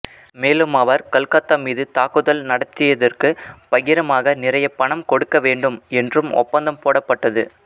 மேலும் அவர் கல்கத்தா மீது தாக்குதல் நடத்தியதற்கு பகிரமாக நிறைய பணம் கொடுக்க வேண்டும் என்றும் ஒப்பந்தம் போடப்பட்டது